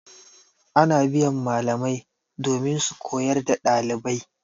Ana biyan malamai domin su koyar da ɗalibai.